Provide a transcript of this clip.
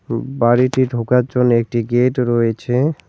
বাড়িটি ঢোকার জন্যে একটি গেট রয়েছে।